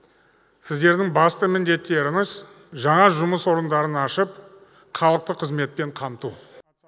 сіздердің басты міндеттеріңіз жаңа жұмыс орындарын ашып халықты қызметпен қамту